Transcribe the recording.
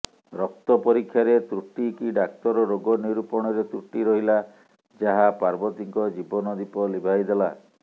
ରକ୍ତ ପରୀକ୍ଷାରେ ତୃଟି କି ଡାକ୍ତର ରୋଗ ନିରୁପଣରେ ତୃଟି ରହିଲା ଯାହା ପାର୍ବତୀଙ୍କ ଜୀବନ ଦୀପ ଲିଭାଇଦେଲା